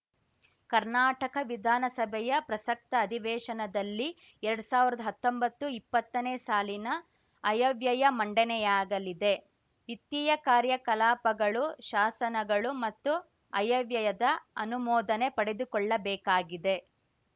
ಕರ್ನಾಟಕ ವಿಧಾನಸಭೆಯ ಪ್ರಸಕ್ತ ಅಧಿವೇಶನದಲ್ಲಿ ಎರಡ್ ಸಾವಿರ್ದಾ ಹತ್ತೊಂಬತ್ತುಇಪ್ಪತ್ತನೇ ಸಾಲಿನ ಆಯವ್ಯಯ ಮಂಡನೆಯಾಗಲಿದೆ ವಿತ್ತೀಯ ಕಾರ್ಯಕಲಾಪಗಳು ಶಾಸನಗಳು ಮತ್ತು ಆಯವ್ಯಯದ ಅನುಮೋದನೆ ಪಡೆದುಕೊಳ್ಳಬೇಕಾಗಿದೆ